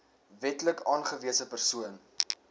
wetlik aangewese persoon